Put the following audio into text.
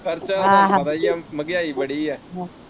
ਖਰਚਾ ਆ ਤੁਹਾਨੂੰ ਪਤਾ ਈਆ ਮਹਿੰਗਾਈ ਬੜੀ ਆ।